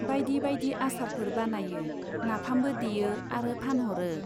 बाइदि बाइदि आसारफोर बानायो, नाफामबो देयो आरो फानह'रो।